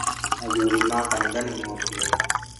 Athuri a kanitha nĩ mokire